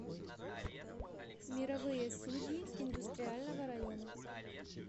мировые судьи индустриального района